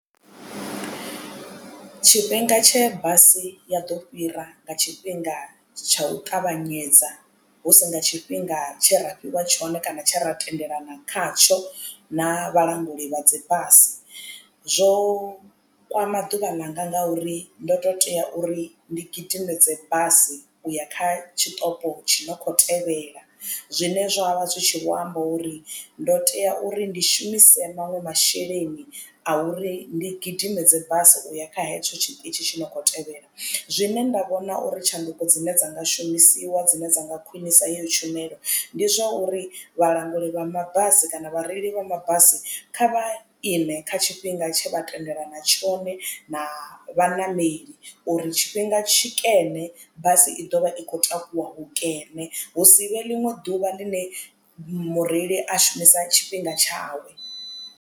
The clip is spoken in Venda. Tshifhinga tshe basi ya ḓo fhira nga tshifhinga tsha u ṱavhanyedza husi nga tshifhinga tshe ra fhiwa tshone kana tshe ra tendelana khatsho na vhalanguli vha dzi basi zwo kwama ḓuvha ḽanga ngauri ndo to tea uri ndi gidimedze basi uya kha tshiṱoko tshi no kho tevhela. Zwine zwa vha zwi tshi vho amba uri ndo tea uri ndi shumise maṅwe masheleni a uri ndi gidimedze basi uya kha hetsho tshiṱitshi tshi no khou tevhela zwine nda vhona uri tshanduko dzine dza nga shumisiwa dzine dza nga khwinisa yeyo tshumelo ndi zwa uri vhalanguli vha mabasi kana vhareili vha mabasi kha vha ime kha tshifhinga tshe vha tendelana tshone na vhaṋameli uri tshifhinga tshikene basi i ḓovha i khou takuwa hukene hu si vhe ḽiṅwe ḓuvha ḽine mureili a shumisa tshifhinga tshawe.